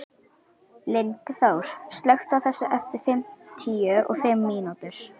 Lyngþór, slökktu á þessu eftir fimmtíu og fimm mínútur.